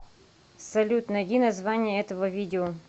салют найди название этого видео